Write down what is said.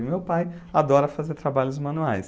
E meu pai adora fazer trabalhos manuais.